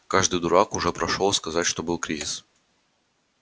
каждый дурак уже прошёл сказать что был кризис